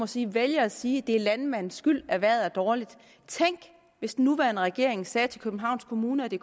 sige vælger at sige at det er landmandens skyld at vejret er dårligt tænk hvis den nuværende regering sagde til københavns kommune at det